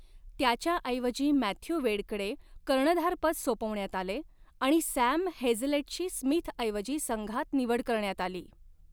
त्याच्याऐवजी मॅथ्यू वेडकडे कर्णधारपद सोपवण्यात आले आणि सॅम हेझलेटची स्मिथऐवजी संघात निवड करण्यात आली.